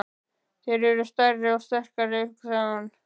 Þeir eru stærri og sterkari, hugsaði hún.